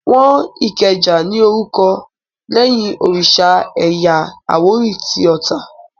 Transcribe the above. Wọ́n Ìkẹjà ní orúkọ lẹ́yìn òrìsà ẹ̀yà àwórì tí Ota